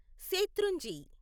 శేత్రుంజి